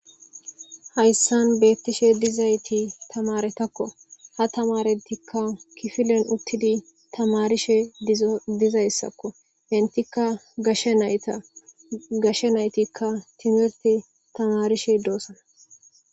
Hayssan beettishe dizayti tamaretakko. Ha tamaretikka kifilen uttidi tamarishe diza issakko etikka gashe nayita. Gashshe naytikka timirti tamarishe doosana.